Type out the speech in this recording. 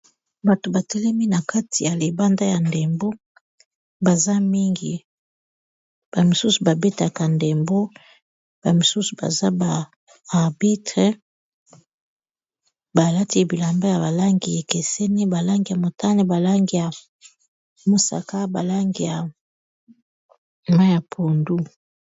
Bato batelemi na kati ya libanda ya ndembo baza mingi ba misusu babetaka ndembo ba misusu baza ba arbitre balati bilamba ya balangi ekeseni balangi ya motane, balangi ya mosaka, balangi ya mayi ya pondu.